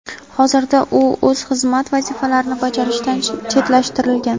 Hozirda u o‘z xizmat vazifalarini bajarishdan chetlashtirilgan.